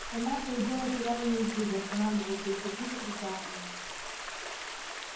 столяр то и дело терял её из виду останавливался и сердито кричал на нее